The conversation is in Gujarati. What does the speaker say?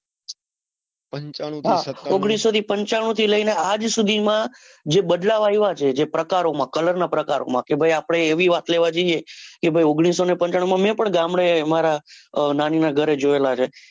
પંચાણું સત્તાનું હા ઓગણીસુને પંચાણું થી લઈને આજ સુધી માં જે બદલાવ આવ્યા છે જે પ્રકારોમાં colour ના પ્રકારોમાં કે ભાઈ આપડે એવી વાત કેવા જઈએ ઓગણીસો ને પંચાણું માં મેં પણ ગામડે મારા નાની ના ઘરે જોયેલા છે.